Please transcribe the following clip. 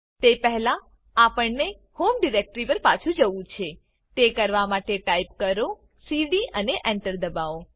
તે પહેલાં આપણને હોમ ડિરેક્ટરી પર પાછુ જવું છેતે કરવા માટે ટાઈપ કરો સીડી અને Enter દબાઓ